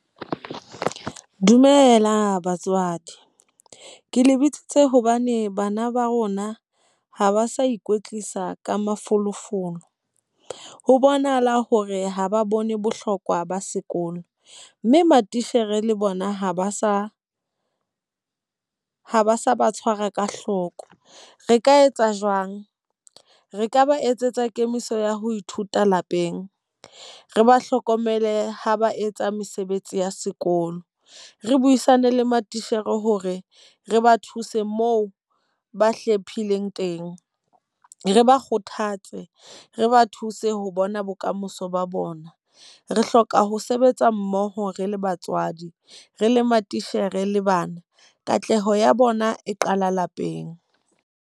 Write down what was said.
Dumela batswadi, ke le bitsitse hobane bana ba rona ha ba sa ikwetlisa ka mafolofolo. Ho bonahala hore ha ba bone bohlokwa ba sekolo. Mme matitjhere le bona ha ba sa ha ba sa ba tshwara ka hloko. Re ka etsa jwang? Re ka ba etsetsa kemiso ya ho ithuta lapeng, re ba hlokomele ha ba etsa mesebetsi ya sekolo, re buisane le matitjhere hore re ba thuse moo ba hlephileng teng, re ba kgothatse, re ba thuse ho bona bokamoso ba bona. Re hloka ho sebetsa mmoho re le batswadi, re le matitjhere le bana. Katleho ya bona e qala lapeng.